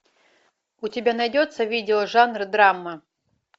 у тебя найдется видео жанр драма